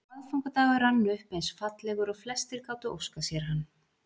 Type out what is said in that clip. Aðfangadagur rann upp eins fallegur og flestir gátu óskað sér hann.